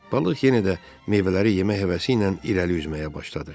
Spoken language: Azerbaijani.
Balıq yenə də meyvələri yemək həvəsi ilə irəli üzməyə başladı.